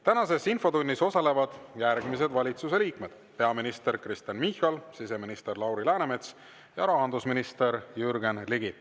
Tänases infotunnis osalevad järgmised valitsuse liikmed: peaminister Kristen Michal, siseminister Lauri Läänemets ja rahandusminister Jürgen Ligi.